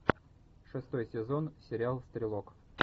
шестой сезон сериал стрелок